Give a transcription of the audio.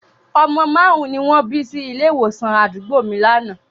Ọmọ márùn-ún ni wọ́n bí sí ilé ìwòsàn àdúgbò mi lánàá